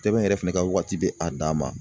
Tɛbɛn yɛrɛ fɛnɛ ka waati be a dan ma